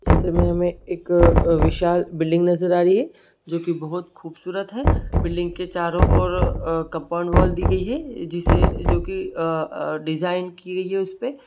चित्र में हमे एक अ विशाल बिल्डिंग नजर आ रही है जो की बहुत खूबसूरत है बिल्डिंग के चारों और अ कंपाउंड वॉल दी गई है जिससे जो की अ-अ डिज़ाइन की गई है उसपे।